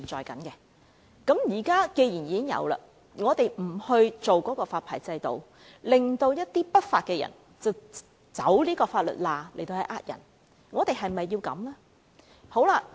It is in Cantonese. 既然現在已有這些機構和公司，但我們卻不設立發牌制度，致令一些不法分子走法律罅來行騙，我們是否要這樣呢？